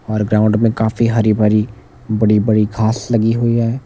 और ग्राउंड में काफी हरी भरी बड़ी बड़ी घास लगी हुई है।